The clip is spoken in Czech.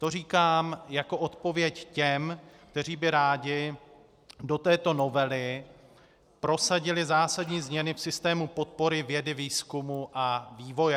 To říkám jako odpověď těm, kteří by rádi do této novely prosadili zásadní změny v systému podpory vědy, výzkumu a vývoje.